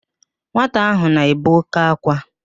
Nwata ahụ na-ebe òké ákwá